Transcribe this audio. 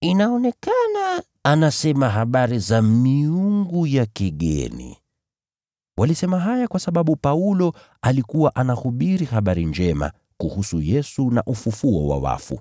“Inaonekana anasema habari za miungu ya kigeni.” Walisema haya kwa sababu Paulo alikuwa anahubiri habari njema kuhusu Yesu na ufufuo wa wafu.